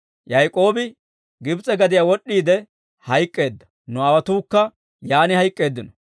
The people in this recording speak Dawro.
Yaak'oobi Gibs'e gadiyaa wod'd'iide hayk'k'eedda; nu aawotuukka yaan hayk'k'eeddino.